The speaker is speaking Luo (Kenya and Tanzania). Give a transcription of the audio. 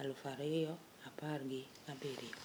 aluf ariyo apar gi abirio